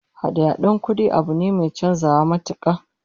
Hada-hadan kudade abu ne mai chanzawa matuka